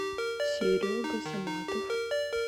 серега саматов